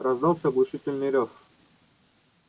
раздался оглушительный рёв